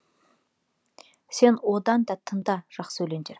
сен одан да тыңда жақсы өлеңдер